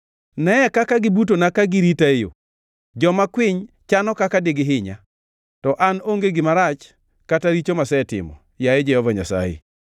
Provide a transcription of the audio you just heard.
Neye kaka gibutona ka girita e yo! Joma kwiny chano kaka digihinya, to an onge gima rach kata richo masetimo, yaye Jehova Nyasaye.